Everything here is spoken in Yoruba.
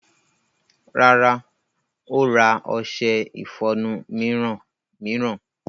Rárá, ó ra ọṣẹ ìfọnu mìíràn.